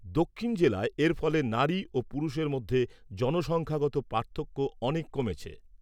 দক্ষিণ জেলায় এর ফলে নারী ও পুরুষের মধ্যে জনসংখ্যাগত পার্থক্য অনেক কমেছে।